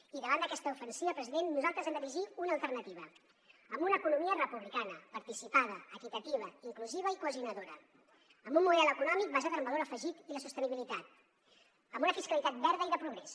i davant d’aquesta ofensiva president nosaltres hem d’erigir una alternativa amb una economia republicana participada equitativa inclusiva i cohesionadora amb un model econòmic basat en el valor afegit i la sostenibilitat amb una fiscalitat verda i de progrés